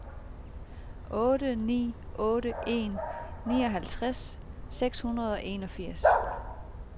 otte ni otte en nioghalvtreds seks hundrede og enogfirs